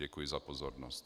Děkuji za pozornost.